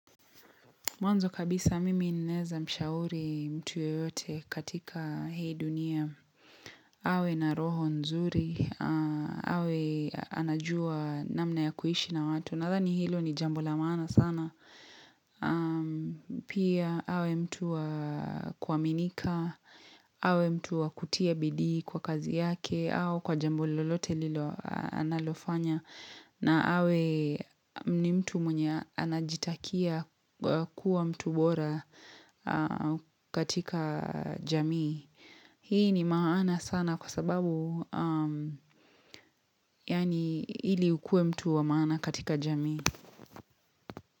Mwanzo kabisa mimi nnaeza mshauri mtu yeyote katika hii dunia. Awe na roho nzuri. Awe anajua namna ya kuishi na watu. Nadhani hilo ni jambo la maana sana. Pia awe mtu wa kuaminika. Awe mtu wa kutia bidii kwa kazi yake. Au kwa jambo lolote lilo analofanya. Na awe ni mtu mwenye anajitakia kuwa mtu bora katika jamii. Hii ni maana sana kwa sababu yani ili ukue mtu wa maana katika jamii.